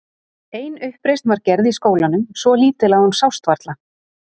Ein uppreisn var gerð í skólanum, svo lítil að hún sást varla.